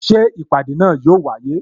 Ṣé ìpàdé náà yo wáyé?